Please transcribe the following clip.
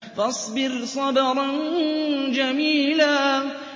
فَاصْبِرْ صَبْرًا جَمِيلًا